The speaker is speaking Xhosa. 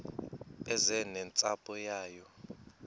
eze nentsapho yayo